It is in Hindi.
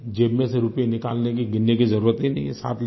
ज़ेब में से रुपये निकालने की गिनने की जरूरत ही नहीं है